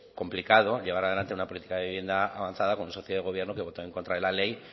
complicado llevar adelante una política de vivienda avanzada como socio de gobierno que votó en contra de la ley